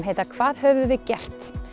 heita hvað höfum við gert